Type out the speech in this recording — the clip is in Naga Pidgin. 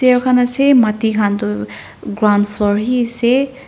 khan asey mati khan du ground floor hi sey.